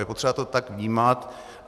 Je potřeba to tak vnímat.